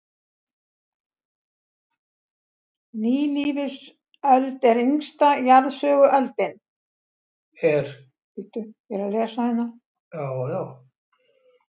Nýlífsöld er yngsta jarðsöguöldin.